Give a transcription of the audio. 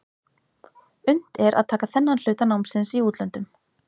Unnt er að taka þennan hluta námsins í útlöndum.